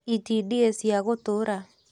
itindiĩ cia gũtũra